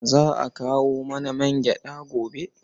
Za a kawo mana mangyaɗa gobe.